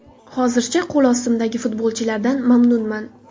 Hozircha, qo‘l ostimdagi futbolchilardan mamnunman.